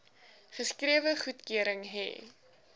geskrewe goedkeuring hê